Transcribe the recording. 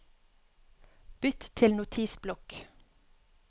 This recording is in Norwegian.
Bytt til Notisblokk